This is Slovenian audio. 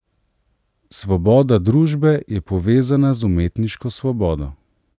Svoboda družbe je povezana z umetniško svobodo.